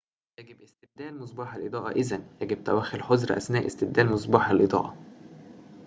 يجب استبدال مصباح الإضاءة إذاً يجب توخّي الحذر أثناء استبدال مصباح الإضاءة